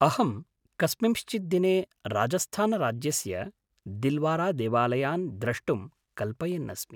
अहं कस्मिंश्चित् दिने राजस्थानराज्यस्य दिल्वारादेवालयान् द्रष्टुं कल्पयन् अस्मि।